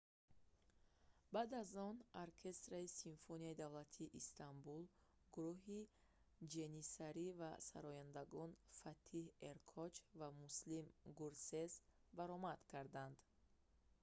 баъд аз он оркестри симфонияи давлатии истанбул гурӯҳи ҷэниссари ва сарояндагон фатиҳ эркоч ва муслим гӯрсес баромад карданд